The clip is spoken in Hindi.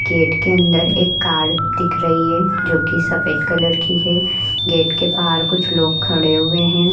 गेट के अंदर एक कार दिख रही है जोकि सफेद कलर की है। गेट के बाहर कुछ लोग खड़े हुए हैं।